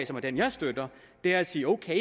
som er den jeg støtter er at sige okay